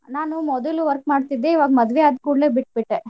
ನಾನು ಮೊದಲು work ಮಾಡ್ತಿದ್ದೆ. ಇವ್ರ್ ಮದ್ವೆ ಆದ್ ಕೂಡ್ಲೇ ಬಿಟ್ ಬಿಟ್ಟೆ.